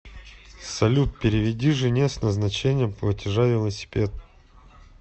салют переведи жене с назначением платежа велосипед